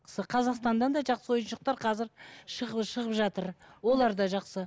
қазақстаннан да жақсы ойыншықтар қазір шығып жатыр олар да жақсы